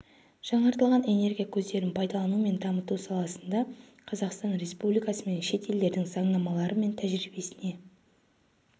жаңартылатын энергия көздерін пайдалану мен дамыту саласында қазақстан республикасы мен шет елдердің заңнамалары мен тәжірибесіне